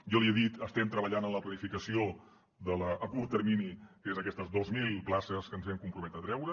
jo li he dit estem treballant en la planificació del curt termini que són aquestes dos mil places que ens hem compromès a treure